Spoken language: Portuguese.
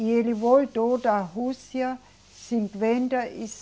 E ele voltou da Rússia cinquenta e